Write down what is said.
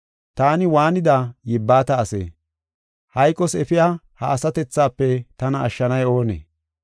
Taani waanida yibbata asee? Hayqos efiya ha asatethafe tana ashshanay oonee?